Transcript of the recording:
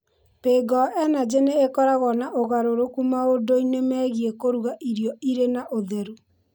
PayGo Energy nĩ ĩkoragwo na ũgarũrũku maũndũ-inĩ megiĩ kũruga irio irĩ na ũtheru.